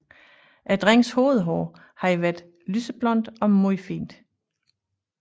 Drengens hovedhår havde været lysblondt og meget fint